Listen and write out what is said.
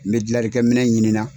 N bɛ jilalikɛ minɛ ɲini na